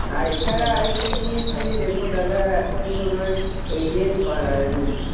আর এছাড়া আরেকটা জিনিস তুমি দেখো দাদা এখন তোমার এই যে আহ